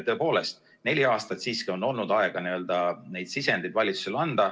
Tõepoolest, neli aastat siiski on olnud aega neid sisendeid valitsusele anda.